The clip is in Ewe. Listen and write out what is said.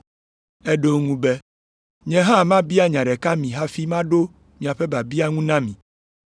Eɖo eŋu be, “Nye hã mabia nya ɖeka mi hafi maɖo miaƒe biabia ŋu na mi.